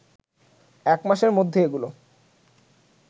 একমাসের মধ্যে এগুলো